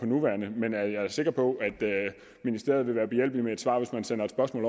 nuværende men jeg er sikker på at ministeriet vil være behjælpelig med at svare hvis man sender et spørgsmål